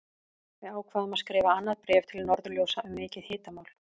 Við ákváðum að skrifa annað bréf til Norðurljósa um mikið hitamál!